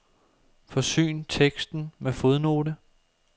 Forsyn teksten med fodnote.